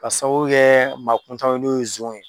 Ka sababu kɛ maa kuntanw ye, n'o ye zonw ye.